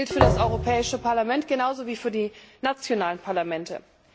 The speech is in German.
Das gilt für das Europäische Parlament genau so wie für die nationalen Parlamente.